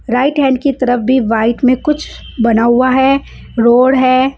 Right hand की तरफ भी व्हाइट में कुछ बना हुआ है रोड है।